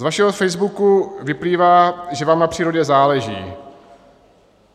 Z vašeho Facebooku vyplývá, že vám na přírodě záleží.